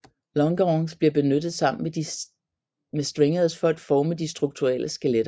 Longerons bliver benyttet sammen med stringers for at forme de struktuelle skeletter